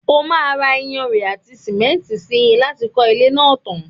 o máà ra iyanrìn àti sìmẹ́ntì si láti kọ́ ilé náà tan.